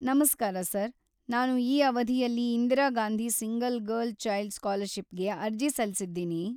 ನಮಸ್ಕಾರ ಸರ್, ನಾನು ಈ ಅವಧಿಯಲ್ಲಿ Indira Gandhi single girl child ಸ್ಕಾಲರ್‌ಷಿಪ್‌ಗೆ ಅರ್ಜಿ ಸಲ್ಲಿಸಿದ್ದೀನಿ.